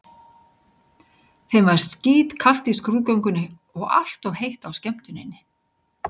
Þeim var skítkalt í skrúðgöngunni og allt of heitt á skemmtuninni.